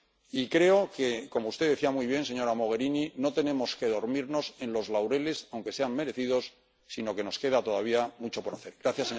Y creo que —como usted decía muy bien, señora Mogherini— no tenemos que dormirnos en los laureles, aunque sean merecidos, sino que nos queda todavía mucho por hacer.